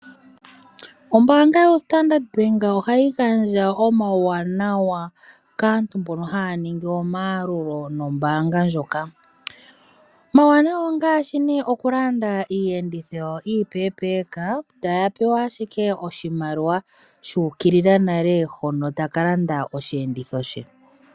Ombaanga yoStandard Bank ohayi gandja omauwanawa kaantu mbono haya ningi omayalulo nombaanga ndjoka. Omauwanawa ongaashi nee okulanda iiyenditho yawo iipepeeka taya pewa ashike oahimaliwa shuukilila nale hono taka landa oshiyenditho she.